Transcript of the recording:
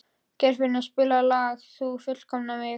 Geirfinnur, spilaðu lagið „Þú fullkomnar mig“.